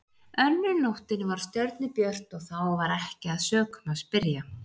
Önnur nóttin var stjörnubjört og þá var ekki að sökum að spyrja.